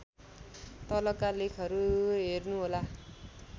तलका लेखहरू हेर्नुहोला